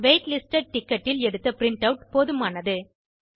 wait listed ticketஇல் எடுத்த print out போதுமானது